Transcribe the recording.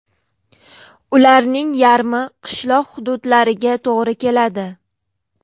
Ularning yarmi qishloq hududlariga to‘g‘ri keladi.